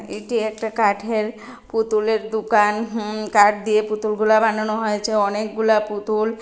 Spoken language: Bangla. এটি একটা কাঠের পুতুলের দুকান হুম কাঠ দিয়ে পুতুল গুলা বানানো হয়েছে অনেকগুলা পুতুল।